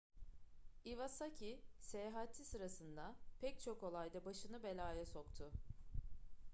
iwasaki seyahati sırasında pek çok olayda başını belaya soktu